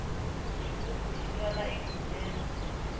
xigubu xi twala enkhubyeni